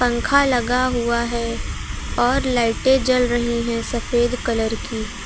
पंखा लगा हुआ है और लाइटें जल रही है सफ़ेद कलर की।